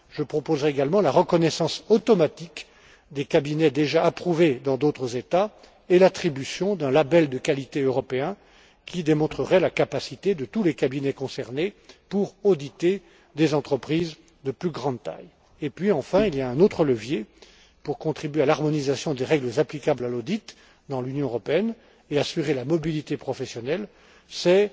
Je proposerai également la reconnaissance automatique des cabinets déjà approuvés dans d'autres États et l'attribution d'un label de qualité européen qui démontrerait la capacité de tous les cabinets concernés pour auditer des entreprises de plus grande taille. Puis, enfin, il y a un autre levier pour contribuer à l'harmonisation des règles applicables à l'audit dans l'Union européenne et assurer la mobilité professionnelle